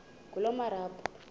ngulomarabu